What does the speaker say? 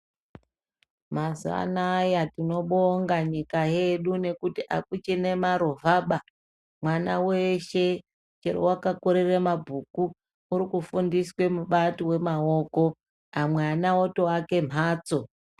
Mazuva anaya tinobonga nyika yedu nekuti akuchina marovha baa mwana weshe wakakurire mabhuku urikufundiswe mibato yemaoko amwa ana otovake mhatso.